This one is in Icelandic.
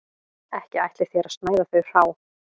Ekki ætlið þér að snæða þau hrá